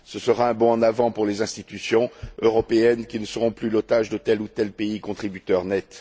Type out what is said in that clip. Ce sera un bond en avant pour les institutions européennes, qui ne seront plus l'otage de tel ou tel pays contributeur net.